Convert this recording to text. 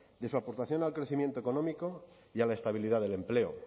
de su aportación al crecimiento económico y a la estabilidad del empleo